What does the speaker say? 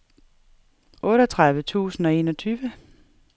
otteogtredive tusind og enogtyve